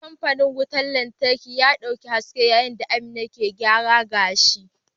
Kamfanin wutar lantarki ya dauki haske yayin da Amina ke gyaran gashi.